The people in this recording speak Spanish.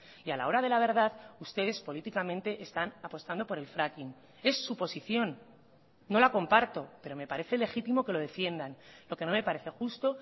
y a la hora de la verdad ustedes políticamente están apostando por el fracking es su posición no la comparto pero me parece legítimo que lo defiendan lo que no me parece justo